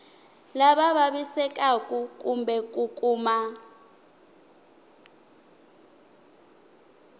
lava vavisekaku kumbe ku kuma